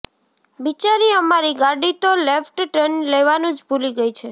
બિચારી અમારી ગાડી તો લેફ્ટ ટર્ન લેવાનું જ ભૂલી ગઇ છે